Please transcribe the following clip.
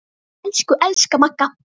Elsku, elsku Magga.